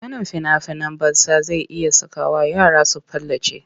Ganin fina-finan batsa zai iya sakawa yara su palace.